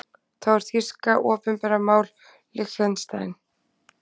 Þá er þýska opinbert mál í Liechtenstein.